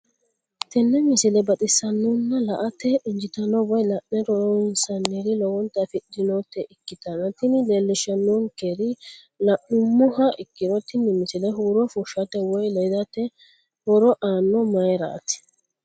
tenne misile baxisannonna la"ate injiitanno woy la'ne ronsannire lowote afidhinota ikkitanna tini leellishshannonkeri la'nummoha ikkiro tini misile huuro fushshate woy ledate horo aanno mayiiraati.